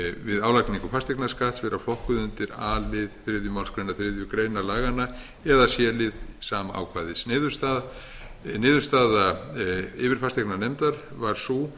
við álagningu fasteignaskatts vera flokkuð undir a lið þriðju málsgrein þriðju grein laganna eða c lið sama ákvæðis niðurstaða yfirfasteignanefndar var sú